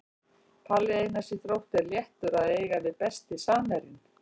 Palli Einars í Þrótti er léttur að eiga við Besti samherjinn?